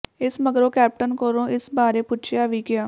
ਇਸ ਮਗਰੋਂ ਕੈਪਟਨ ਕੋਲੋਂ ਇਸ ਬਾਰੇ ਪੁੱਛਿਆ ਵੀ ਗਿਆ